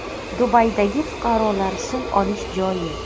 Dubaydagi fuqarolar suv olish joyi.